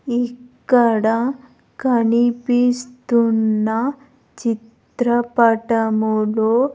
ఇక్కడ కనిపిస్తున్న చిత్రపటములో--